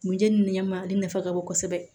Mun jeneni nɛɛma ale nafa ka bon kosɛbɛ